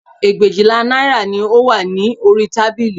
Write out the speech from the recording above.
Ẹgbẹ̀éjìlá náírà ni ó wà ní orí tábìlì